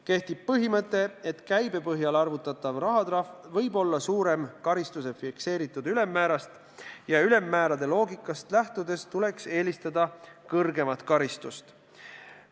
Kehtib põhimõte, et käibe põhjal arvutatav rahatrahv võib olla suurem karistuse fikseeritud ülemmäärast ja ülemmäärade loogikast lähtudes tuleks eelistada kõrgemat karistust.